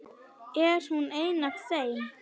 Er hún ein af þeim?